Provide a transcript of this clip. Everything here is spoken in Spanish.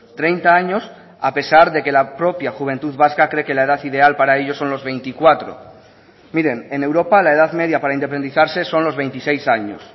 treinta años a pesar de que la propia juventud vasca cree que la edad ideal para ello son los veinticuatro miren en europa la edad media para independizarse son los veintiséis años